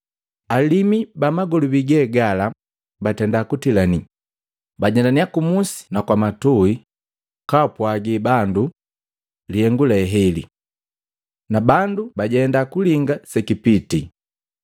Alimu ba magolobi ge gala batenda kutilanii, bajendanya kumusi na kwa matui kapwagi bandu lihengu le heli. Na bandu bajenda kulinga sekipitii.